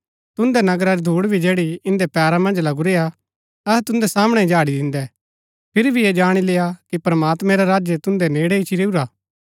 तुदैं नगरा री धूड भी जैड़ी इन्दै पैरा मन्ज लगुरीआ अहै तुदैं सामणै ही झाड़ी दिन्दै फिरी भी ऐह जाणी लेय्आ कि प्रमात्मैं रा राज्य तुन्दै नेड़ै इच्ची रैऊआ